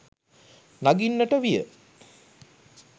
නඟින්නට විය.